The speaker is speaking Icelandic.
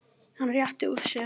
Hann réttir úr sér.